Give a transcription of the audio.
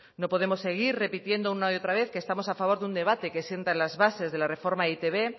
no podemos seguir repitiendo una y otra vez que estamos a favor de un debate que sientan las bases de la reforma de e i te be